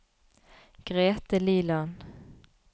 Grethe Liland